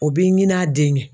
O b'i ɲin'a den ye